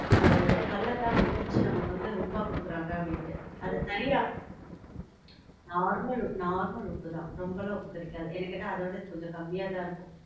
அது அந்த கல்ல தான் இடிச்சி நமக்கு வந்து உப்பா குடுக்குறாங்க அப்படின்ட்டு. அது சரியா normal, normal உப்பு தான். ரொம்பலாம் உப்பு கரிக்காது. என்னக்கேட்டா அத விட இது கொஞ்சம் கம்மியா தான் இருக்கும்.